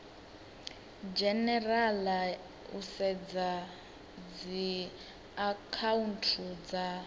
dzhenerala u sedza dziakhaunthu dza